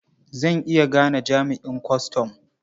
Zan iya gane jami'an kwastam.